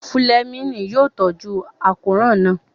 Fúlẹ́mìnì yóò tọ́jú àkóràn náà